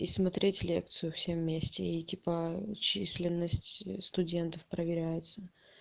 и смотреть лекцию все вместе и типа численность студентов проверяется